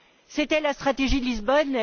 C'était la stratégie de Lisbonne.